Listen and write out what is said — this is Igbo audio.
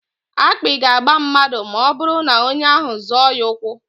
Akpị ga-agba mmadụ ma ọbụrụ na onye ahụ zọọ ya ụkwụ.